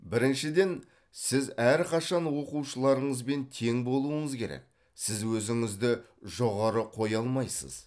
біріншіден сіз әрқашан оқушыларыңызбен тең болуыңыз керек сіз өзіңізді жоғары қоя алмайсыз